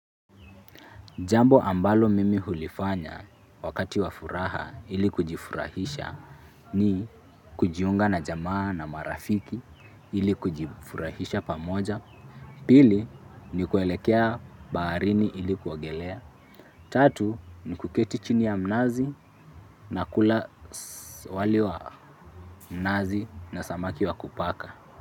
Jambo ambalo mimi hulifanya wakati wa furaha ili kujifurahisha ni kujiunga na jamaa na marafiki ili kujifurahisha pamoja, pili ni kuelekea baharini ili kuogelea, tatu ni kuketi chini ya mnazi na kula wali wa nazi na samaki wa kupaka.